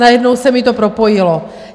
Najednou se mi to propojilo.